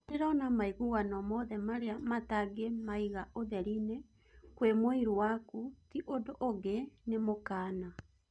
Nindĩrona maiguano mothe maria mutangĩmaiga ũtherini kwĩ mũiru waku ti ũndũ ũngĩ nĩ mũkana